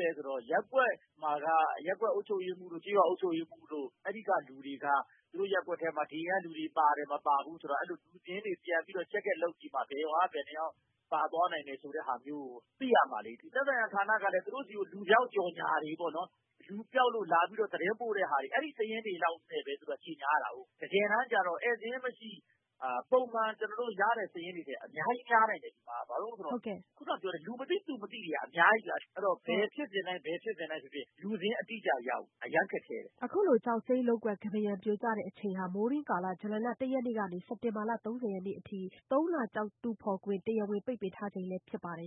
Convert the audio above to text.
လဲဆိုတော့ ရပ်ကွက်မှာက ရပ်ကွက်အုပ်ချုပ်ရေးမှူးတို့ ကျေးရွာအုပ်ချုပ်ရေးမှူးတို့ အဲဒီက လူတွေက သူတို့ ရပ်ကွက်ထဲမှာ ဒီအိမ်က လူတွေ ပါတယ် ၊ မပါဘူးဆိုတာ လူစာရင်းတွေ ပြန်ပြီးတော့ စစ်ကြည့်မှ ဘယ်ရွာက ဘယ်နှစ်ယောက် ပါသွားနိုင်တယ်ဆိုတာမျိုးကို သိရမှာလေ။ သက်ဆိုင်ရာ ဌာနကလည်း သူတို့ဆီက လူပျောက်လို့ လာပြီးတော့ သတင်းပို့တာတွေ အဲဒီစာရင်းတွေလောက်နဲ့ပဲ သူတို့က ကြေညာရတာကို။ တကယ်တမ်းကတော့ ဧည့်စာရင်းမရှိ ကျနော်တို့ ပုံမှန်ရတဲ့ စာရင်းတွေထက် အများကြီး များနိုင်တယ်။ ခုနပြောတဲ့ လူမသိ သူမသိတွေက အများကြီးဗျာ ။ ဘယ်ဖြစ်စဉ်တိုင်းဖြစ်ဖြစ် လူစာရင်းအတိအကျရဖို့ အရမ်းခက်ခဲတယ်။” အခုလို ကျောက်စိမ်းလုပ်ကွက် ကမ်းပါးရံပြိုကျချိန်ဟာ မိုးတွင်းကာလ ဇူလိုင်လ ၁ရက်နေ့က စက်တင်ဘာလ ၃၀ရက်နေ့အထိ သုံးလ ကျောက်တူးဖော်ခွင့် တရားဝင်ပိတ်ပင်ထားချိန ်လည်းဖြစ် ပါတယ်